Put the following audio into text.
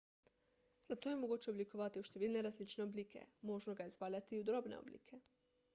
zlato je mogoče oblikovati v številne različne oblike možno ga je zvaljati v drobne oblike